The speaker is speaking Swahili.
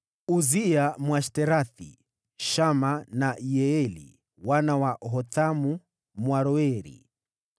Uzia Mwashterathi, Shama na Yeieli wana wa Hothamu Mwaroeri,